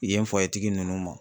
Yen tigi nunnu ma.